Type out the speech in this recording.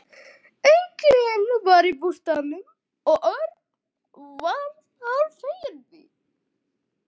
Enginn var í bústaðnum og Örn varð hálffeginn því.